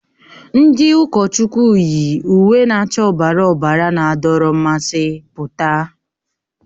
Ndi ụkọchukwu yi uwe na-acha ọbara ọbara na-adọrọ mmasị pụta.